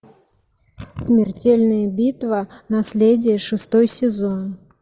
смертельная битва наследие шестой сезон